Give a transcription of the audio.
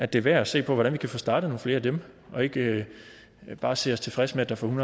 det er værd at se på hvordan vi kan få startet nogle flere af dem og ikke bare stille os tilfreds med at der for en